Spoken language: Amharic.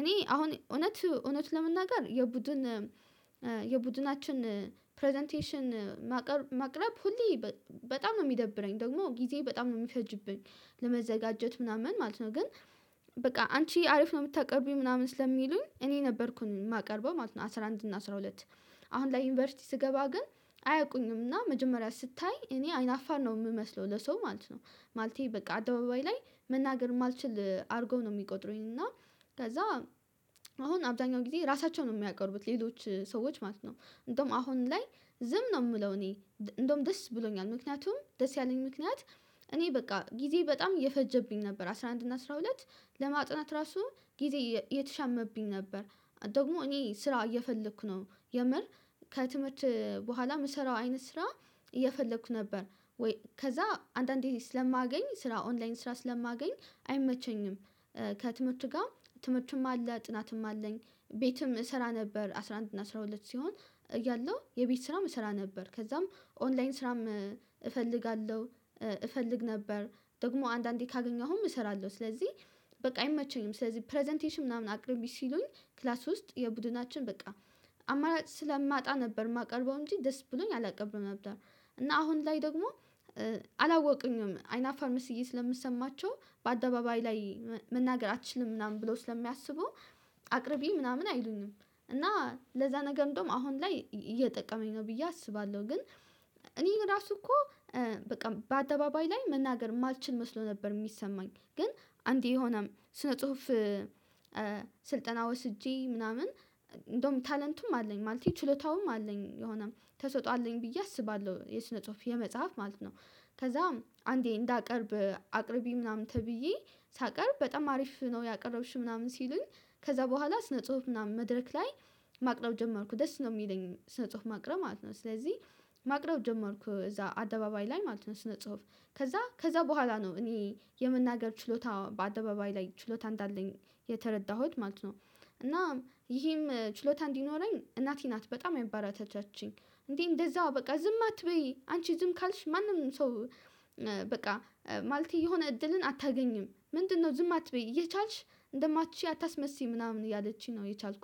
እኔ አሁን እውነት እውነት ለመናገር የቡድን የቡድናችን ፕረዘንቴሽን ማቅረብ ሁሌ በጣም ነው የሚደብረኝ ደግሞ ጊዜ በጣም ነው የሚፈጅብኝ ለመዘጋጀት ምናምን ማለት ነው ግን በቃ አንቺ አሪፍ ነው የምታቀርቡኝ ምናምን ስለሚሉኝ እኔ ነበርኩኝ የማቀርበው ማለት ነው። አስራ አንድ እና አስራ ሁለት አሁን ላይ ዩኒቨርሲቲ ስገባ ግን አያውቁኝም እና መጀመሪያ ስታይ እኔ አይናፋር ነው የምመስለው ለሰው ማለት ነው ማለቴ በቃ አደባባይ ላይ መናገር የማልችል አድርጎ ነው የሚቆጥረኝ እና ከዛ አሁን አብዛኛው ጊዜ ራሳቸውን ነው የሚያቀርቡት ሌሎች ሰዎች ማለት ነው። እንደውም አሁን ላይ ዝም ነው የምለው እኔ እንደውም ደስ ብሎኛል ምክንያቱም ደስ ያለኝ ምክንያት እኔ በቃ ጊዜ በጣም የፈጀብኝ ነበር አስራ አንድ እና አስራ ሁለት ለማጥናት ራሱ ጊዜ እየተሻማብኝ ነበር ደግሞ እኔ ስራ እየፈለኩ ነው የምር ከትምህርት በኋላ የምሰራው አይነት ስራ እየፈለኩ ነበር ወይ ከዛ አንዳንዴ ስለማገኝ ስራ ኦንላይን ስራ ስለማገኝ አይመቸኝም። ከትምህርት ጋር ትምህርትም አለ ጥናትም አለኝ ቤትም እሰራ ነበር አስራ አንድ እና አስራ ሁለት ሲሆን ያለው የቤት ስራም እሰራ ነበር ከዛም ኦንላይን ስራም እፈልጋለሁ እፈልግ ነበር። ደግሞ አንዳንዴ ካገኘሁም እሰራለሁ ስለዚህ በቃ አይመቸኝም ስለዚህ ፕረዘንቴሽን ምናምን አቅርቢ ሲሉኝ ክላስ ውስጥ የቡድናችን በቃ አማራጭ ስለማጣ ነበር የማቀርበው እንጂ ደስ ብሎኝ አላቀብርም ነበር። እና አሁን ላይ ደግሞ አላወቁኝም አይናፋር መስዬ ስለምሰማቸው በአደባባይ ላይ መናገር አትችልም ምናምን ብለው ስለሚያስቡ አቅርቢ ምናምን አይሉኝም እና ለዛ ነገር እንደውም አሁን ላይ እየጠቀመኝ ነው ብዬ አስባለሁ። ግን እኔ ራሱ እኮ በቃ በአደባባይ ላይ መናገር የማልችል መስሎ ነበር የሚሰማኝ ግን አንዴ የሆነ ስነ ጽሁፍ ስልጠና ወስጄ ምናምን እንደውም ታለንቱም አለኝ ማለት ችሎታውም አለኝ የሆነ ተሰጥኦ አለኝ ብዬ አስባለሁ የስነ ጽሁፍ የመጽሐፍ ማለት ነው። ከዛም አንዴ እንዳቀርብ አቅርቢ ምናምን ተብዬ ሳቀርብ በጣም አሪፍ ነው ያቀረብሽው ምናምን ሲሉኝ ከዛ በኋላ ስነ ጽሁፍ ምናምን መድረክ ላይ ማቅረብ ጀመርኩ ደስ ነው የሚለኝ ስነ ጽሁፍ ማቅረብ ማለት ነው። ስለዚህ ማቅረብ ጀመርኩ እዛ አደባባይ ላይ ማለት ነው ስነ ጽሁፍ ከዛ ከዛ በኋላ ነው እኔ የናመገር ችሎታ በአደባባይ ላይ ችሎታ እንዳለኝ የተረዳሁት ማለት ነው። እና ይሄም ችሎታ እንዲኖረኝ እናቴ ናት በጣም ያበረታታችኝ እንዴ እንደዛ በቃ ዝም አትበይ አንቺ ዝም ካልሽ ማንም ሰው። በቃ ማለቴ የሆነ እድልን አታገኝም ምንድነው? ዝም አትበይ እየቻልሽ እንደማትችይ አታስመስይ ምናምን ያለችኝ ነው የቻልኩት